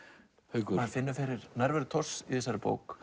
Haukur maður finnur fyrir nærveru Thors í þessari bók